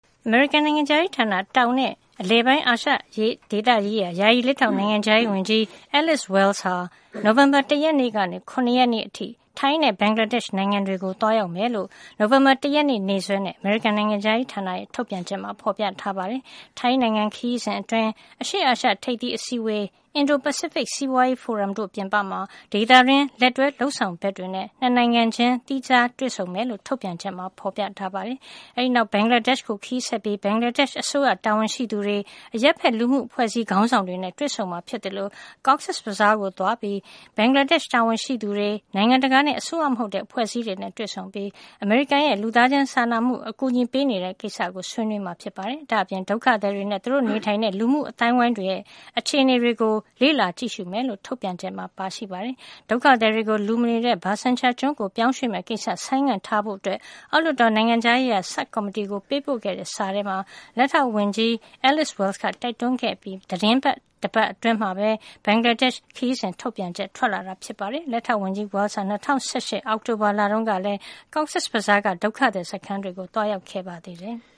အမေရိကန်နိုင်ငံခြားရေးဌာန၊ တောင်နဲ့ အလယ်ပိုင်းအာရှဒေသရေးရာ ယာယီ လက်ထောက် နိုင်ငံခြားရေးဝန်ကြီး Alice Wells ဟာ နိုဝင်ဘာလ ၁ ရက်နေ့ကနေ ၇ ရက်နေ့အထိ ထိုင်းနဲ့ ဘင်္ဂလားဒေ့ရှ်နိုင်ငံတွေကို သွားရောက်မယ်လို့ နိုဝင်ဘာလ ၁ ရက်နေ့ ရက်စွဲနဲ့ အမေရိကန်နိုင်ငံခြားရေးဌာနရဲ့ ထုတ်ပြန်ချက်မှာ ဖော်ပြထားပါတယ်။ ထိုင်းနိုင်ငံခရီးစဉ်အတွင်း အရှေ့အာရှ ထိပ်သီးအစည်းအဝေး၊ အင်ဒို-ပစိဖိတ် စီးပွားရေးဖိုရမ်တို့ပြင်ပမှာ ဒေသတွင်း လက်တွဲ လုပ်ဆောင်ဘက်တွေနဲ့ နှစ်နိုင်ငံခြင်း သီးခြားတွေ့ဆုံမယ်လို့ ထုတ်ပြန်ချက်မှာ ပြောထားပါတယ်။ အဲဒီနောက် ဘင်္ဂလားဒေ့ရှ်ကို ခရီးဆက်ပြီး ဘင်္ဂလားဒေ့ရှ်အစိုးရ တာဝန်ရှိသူတွေ၊ အရပ်ဘက်လူမှုအဖွဲ့အစည်း ခေါင်းဆောင်တွေနဲ့ တွေ့ဆုံမှာဖြစ်သလို Cox’s Bazar ကိုသွားပြီး ဘင်္ဂလားဒေ့ရှ်တာဝန်ရှိသူတွေ၊ နိုင်ငံတကာနဲ့ အစိုးရမဟုတ်တဲ့ အဖွဲ့အစည်းတွေနဲ့ တွေ့ဆုံပြီး အမေရိကန်က လူသားစာနာမှု အကူအညီပေးနေတဲ့ကိစ္စ ဆွေးနွေးပါမယ်။ ဒါ့အပြင် ဒုက္ခသည်တွေနဲ့ သူတို့နေထိုင်တဲ့ လူမှုအဝန်းအဝိုင်းတွေရဲ့ အခြေအနေကို လေ့လာကြည့်ရှုမယ်လို့ ထုတ်ပြန်ချက်မှာ ပါရှိပါတယ်။ ဒုက္ခသည်တွေကို လူမနေတဲ့ Bhashan Char ကျွန်းကို ပြောင်းရွှေ့မယ့်ကိစ္စ ဆိုင်းငံ့ထားဖို့ အောက်လွှတ်တော်၊ နိုင်ငံခြားရေးရာ ဆပ်ကော်မတီကို ပေးပို့တဲ့စာထဲမှာ လက်ထောက်ဝန်ကြီး Alice Wells က တိုက်တွန်းခဲ့အပြီး သီတင်းတပတ်အတွင်းမှာပဲ ဘင်္ဂလား ဒေ့ရှ်ခရီးစဉ် ထုတ်ပြန်ချက် ထွက်လာတာပါ။ လက်ထောက်ဝန်ကြီး Wells ဟာ ၂၀၁၈ ခုနှစ် အောက်တိုဘာလတုန်းကလည်း Cox’s Bazar က ဒုက္ခသည်စခန်းတွေကို သွားခဲ့ပါ သေးတယ်။